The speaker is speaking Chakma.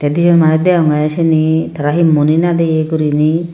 debay manus dagogay seani he tara he muoni nadaay goriney.